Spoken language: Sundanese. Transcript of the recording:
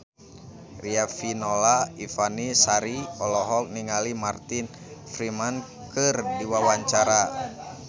Riafinola Ifani Sari olohok ningali Martin Freeman keur diwawancara